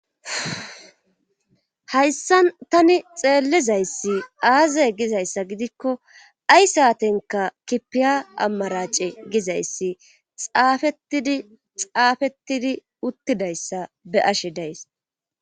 Hayssan tani xeellizayssi aazey gizayssa gidikko ay saatenka kipiya ammarace gizayssi xaafetidi xaafettidi uttidayssa be ashe days.